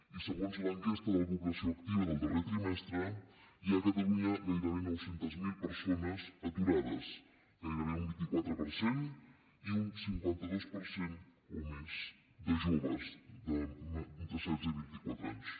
i segons l’enquesta de la població activa del darrer trimestre hi ha a catalunya gairebé nou cents miler persones aturades gairebé un vint quatre per cent i un cinquanta dos per cent o més de joves d’entre setze i vint i quatre anys